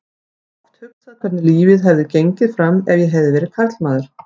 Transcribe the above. Ég hef oft hugsað hvernig lífið hefði gengið fram ef ég hefði verið karlmaður.